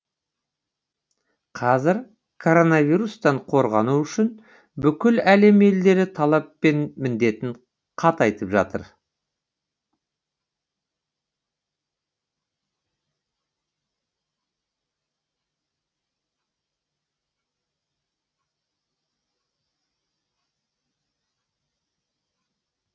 қазір коронавирустан қорғану үшін бүкіл әлем елдері талап пен міндетін қатайтып жатыр